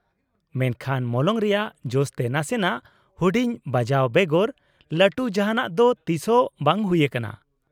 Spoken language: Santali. -ᱢᱮᱱᱠᱷᱟᱱ ᱢᱚᱞᱚᱝ ᱨᱮᱭᱟᱜ ᱡᱚᱥ ᱛᱮ ᱱᱟᱥᱮᱱᱟᱜ ᱦᱩᱰᱤᱧ ᱵᱟᱡᱟᱣ ᱵᱮᱜᱚᱨ ᱞᱟᱹᱴᱩ ᱡᱟᱦᱟᱸᱱᱟᱜ ᱫᱚ ᱛᱤᱥᱦᱚᱸ ᱵᱟᱝ ᱦᱩᱭ ᱟᱠᱟᱱᱟ᱾